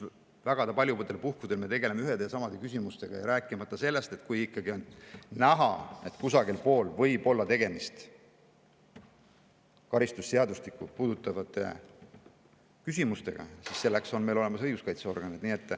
Väga paljudel puhkudel me tegeleme seal ühtede ja samade küsimustega, rääkimata sellest, et kui ikkagi on näha, et võib olla tegemist karistusseadustikku puudutavate küsimustega, siis selleks on meil olemas õiguskaitseorganid.